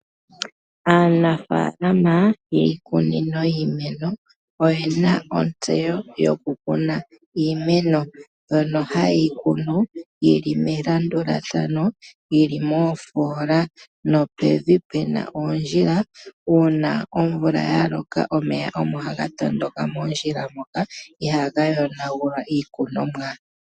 Aanafalama yiikunino yiimeno oye na ontseyo yokukuna iimeno mbyono haye yi kunu yi li melandulathano yi li moofoola nopevi pu na oondjila. Uuna omvula ya loka omeya omo haga tondoka moondjila moka. Ihaga yonagula iikunomwa.